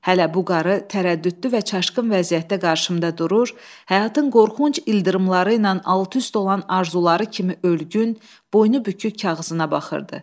Hələ bu qarı tərəddüdlü və çaşqın vəziyyətdə qarşımda durur, həyatın qorxunc ildırımları ilə alt-üst olan arzuları kimi ölgün, boynubükük kağızına baxırdı.